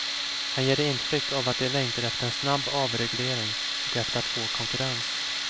Han ger intryck av att de längtar efter en snabb avreglering och efter att få konkurrens.